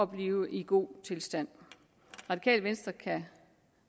blive i god tilstand radikale venstre kan